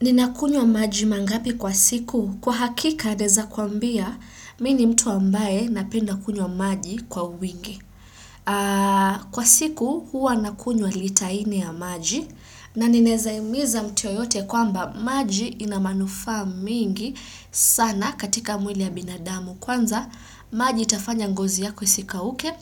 Ninakunyo maji mangapi kwa siku? Kwa hakika naweza kuambia mini mtu ambaye napenda kunyo maji kwa uwingi. Kwa siku hua nakunyo lita ine ya maji na ninezaimiza mtu yoyote kwamba maji inamanufa mingi sana katika mwili ya binadamu. Kwanza, maji itafanya ngozi yako isika uke.